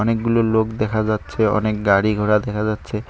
অনেকগুলো লোক দেখা যাচ্ছে অনেক গাড়ি ঘোড়া দেখা যাচ্ছে।